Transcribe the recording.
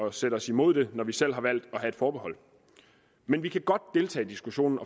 at sætte os imod det når vi selv har valgt at have et forbehold men vi kan godt deltage i diskussionen